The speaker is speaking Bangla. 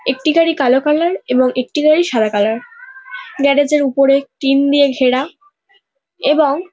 একটি গাড়ি কালো কালার এবং একটি গাড়ি সাদা কালার গ্যারেজ -এর উপরে টিন দিয়ে ঘেরা এবং--